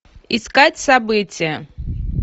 искать событие